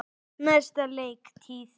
Næsta leiktíð?